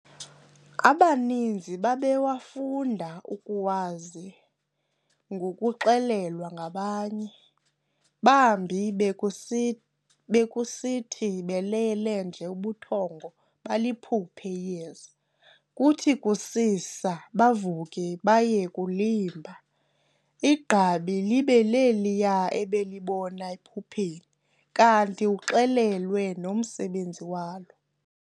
Abaninzi babewafunda ukuwazi ngokuxelelwa ngabanye, bambi bekusi bekusithi belele nje ubuthongo baliphuphe iyeza, kuthi kusisa bavuke baye kulimba, igqabi libe leliya ebelibona ephupheni, kanti uxelelwe nomsebenzi walo.